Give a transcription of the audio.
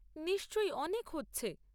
নিশ্চয়, অনেক হচ্ছে।